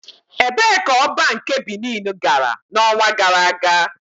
Ebee ka Oba nke Binin gara n'ọnwa gara aga?